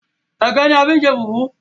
ẹgẹ ní a fí n ṣe fufu.